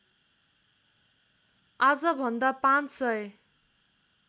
आजभन्दा पाँच सय